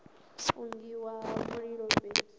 u fungiwa ha mililo fhethu